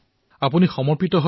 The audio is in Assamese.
ঠিক আছে ডাক্টৰ